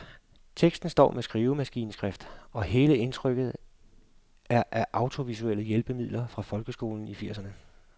Teksten står med skrivemaskineskrift, og hele indtrykket er af audiovisuelle hjælpemidler fra folkeskolen i firserne.